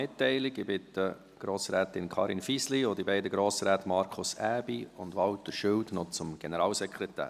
Ich bitte Grossrätin Karin Fisli und die beiden Grossräte Markus Aebi und Walter Schilt zum Generalsekretär.